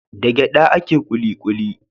Da gyaɗa ake kuli kuli.